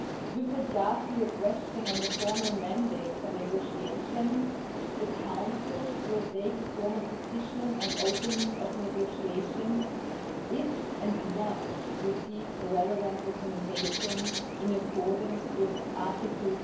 With regard to your question on the formal mandate for negotiations, the Council will take a formal decision on the opening of negotiations if, and when, it receives a relevant recommendation in accordance with Article